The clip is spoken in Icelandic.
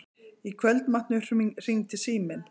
Í kvöldmatnum hringdi síminn.